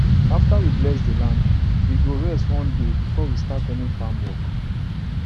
after we bless the land we go rest one day before we start any farm work